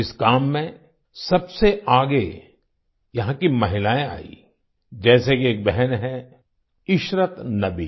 इस काम में सबसे आगे यहाँ की महिलाएं आईं जैसे कि एक बहन हैं इशरत नबी